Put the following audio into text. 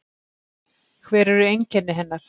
Hver eru einkenni hennar?